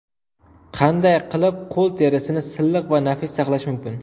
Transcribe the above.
Qanday qilib qo‘l terisini silliq va nafis saqlash mumkin?.